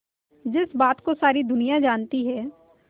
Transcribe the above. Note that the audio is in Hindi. जिस बात को सारी दुनिया जानती है